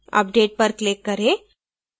update पर click करें